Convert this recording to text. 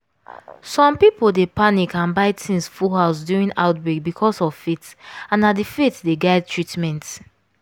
some people dey panic and dey buy things full house during outbreak because of faith and na the faith dey guide treatment.